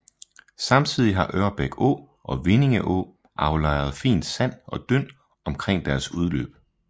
Samtidig har Ørbæk Å og Vindinge Å aflejret fint sand og dynd omkring deres udløb